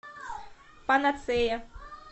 панацея